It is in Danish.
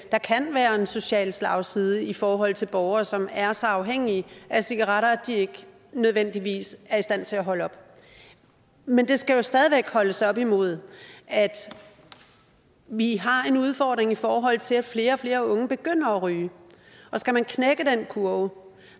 kan være en social slagside i forhold til borgere som er så afhængige af cigaretter at de ikke nødvendigvis er i stand til at holde op men det skal jo stadig væk holdes op imod at vi har en udfordring i forhold til at flere og flere unge begynder at ryge og skal man knække den kurve